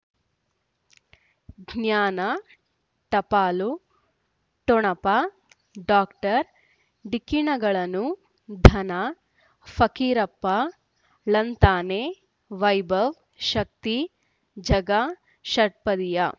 ಜ್ಞಾನ ಟಪಾಲು ಠೊಣಪ ಡಾಕ್ಟರ್ ಢಿಕ್ಕಿ ಣಗಳನು ಧನ ಫಕೀರಪ್ಪ ಳಂತಾನೆ ವೈಭವ್ ಶಕ್ತಿ ಝಗಾ ಷಟ್ಪದಿಯ